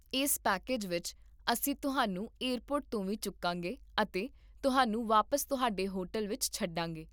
ਇਸ ਪੈਕੇਜ ਵਿੱਚ, ਅਸੀਂ ਤੁਹਾਨੂੰ ਏਅਰਪੋਰਟ ਤੋਂ ਵੀ ਚੁੱਕਾਂਗੇ ਅਤੇ ਤੁਹਾਨੂੰ ਵਾਪਸ ਤੁਹਾਡੇ ਹੋਟਲ ਵਿੱਚ ਛੱਡਾਂਗੇ